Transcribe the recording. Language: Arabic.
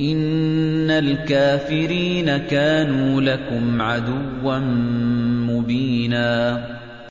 إِنَّ الْكَافِرِينَ كَانُوا لَكُمْ عَدُوًّا مُّبِينًا